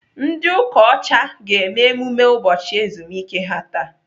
Ndị ụka ọcha ga-eme emume ụbọchị ezumike ha taa.